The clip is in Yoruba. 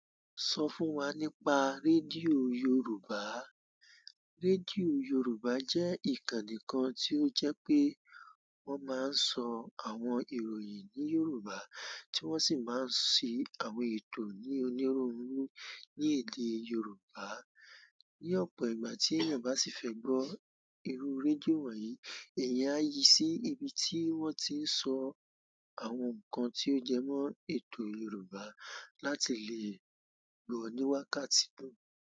Sọ fún wa nípa rédíò Yoruba. Rédíò Yoruba jẹ́ ìkànnì kan tí ó jẹ́ pé wọ́n máa ń sọ àwọn ìròyìn ní Yoruba tí wọ́n sì máa ń ṣe àwọn ètò ní onírúurú ní èdè Yoruba. Ni ọ̀pọ̀ ìgbà tí èèyàn bá sì fẹ́ gbọ́ irú rédíò wọ̀nyí, èèyàn á yí sí ibi tí wọ́n ti ń sọ àwọn nǹkan tí ó jẹ́ mọ́ ètò Yoruba láti lè gbọ́ ní wákàtí náà.